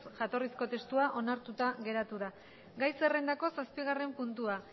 jatorrizko testua onartuta geratu da gai zerrendako zazpigarren puntua